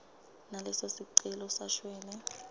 naleso sicelo sashwele